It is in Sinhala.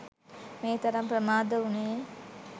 මේ තරම් ප්‍රමාද වුණේ.